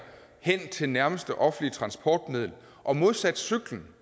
hen til nærmeste offentlige transportmiddel og modsat cyklen